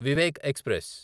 Vivek express